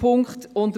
Punkt 3